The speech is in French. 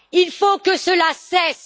Il faut que cela cesse.